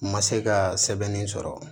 N ma se ka sɛbɛnni sɔrɔ